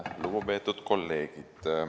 Lugupeetud kolleegid!